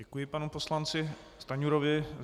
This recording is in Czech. Děkuji panu poslanci Stanjurovi.